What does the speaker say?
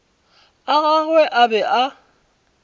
a gagwe a be a